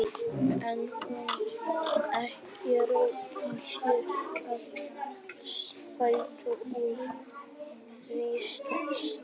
En hún hafði ekki orku í sér til að bæta úr því strax.